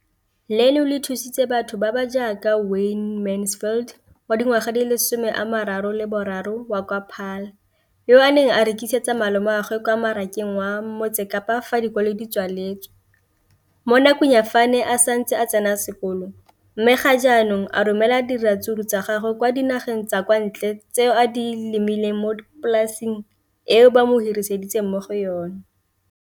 leno le thusitse batho ba ba jaaka Wayne Mansfield, 33, wa kwa Paarl, yo a neng a rekisetsa malomagwe kwa Marakeng wa Motsekapa fa dikolo di tswaletse, mo nakong ya fa a ne a santse a tsena sekolo, mme ga jaanong o romela diratsuru tsa gagwe kwa dinageng tsa kwa ntle tseo a di lemileng mo polaseng eo ba mo hiriseditseng yona.